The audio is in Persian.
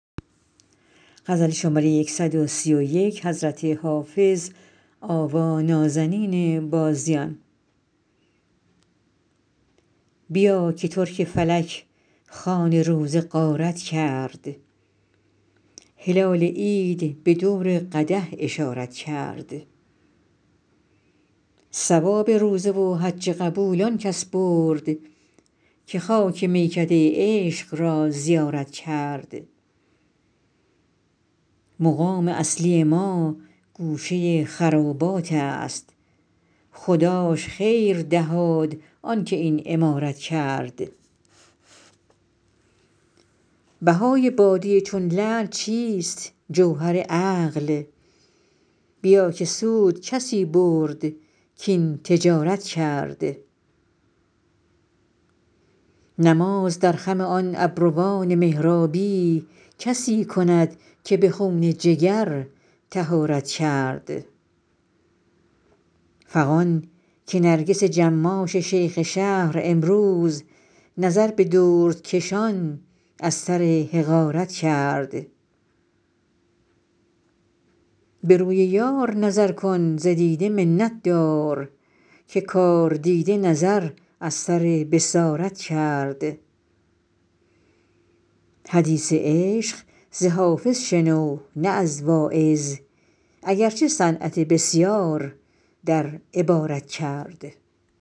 بیا که ترک فلک خوان روزه غارت کرد هلال عید به دور قدح اشارت کرد ثواب روزه و حج قبول آن کس برد که خاک میکده عشق را زیارت کرد مقام اصلی ما گوشه خرابات است خداش خیر دهاد آن که این عمارت کرد بهای باده چون لعل چیست جوهر عقل بیا که سود کسی برد کاین تجارت کرد نماز در خم آن ابروان محرابی کسی کند که به خون جگر طهارت کرد فغان که نرگس جماش شیخ شهر امروز نظر به دردکشان از سر حقارت کرد به روی یار نظر کن ز دیده منت دار که کاردیده نظر از سر بصارت کرد حدیث عشق ز حافظ شنو نه از واعظ اگر چه صنعت بسیار در عبارت کرد